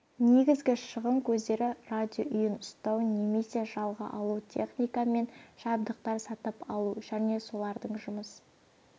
негізгі шығын көздері радиоүйін ұстау немесе жалға алу техника мен жабдықтар сатып алу және солардың жұмыс